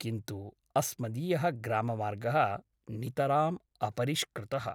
किन्तु अस्मदीयः ग्राममार्ग : नितराम् अपरिष्कृतः ।